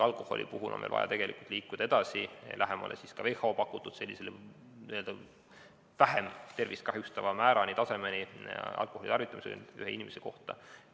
Alkoholi puhul on meil vaja liikuda edasi, lähemale ka WHO pakutud vähem tervist kahjustavale tasemele alkoholitarvitamisel ühe inimese kohta.